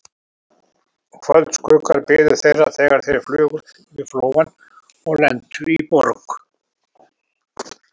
Kvöldskuggar biðu þeirra, þegar þeir flugu yfir Flóann og lentu í Borg